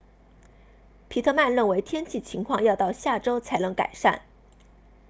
皮特曼认为天气情况要到下周才能改善